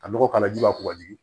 Ka nɔgɔ k'a la ji b'a kɔ ka jigin